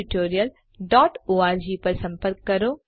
જોડાવા બદ્દલ આભાર